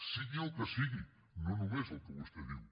sigui el que sigui no només el que vostè diu